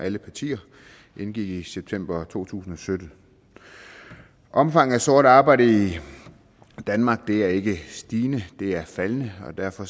alle partier indgik i september to tusind og sytten omfanget af sort arbejde i danmark er ikke stigende det er faldende og derfor